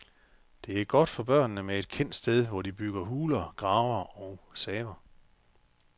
Det er godt for børnene med et kendt sted, hvor de bygger huler, graver og saver.